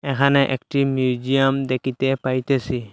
এহানে একটি মিউজিয়াম দেকিতে পাইতেসি।